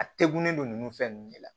A tegunnen don nunnu fɛn nunnu de la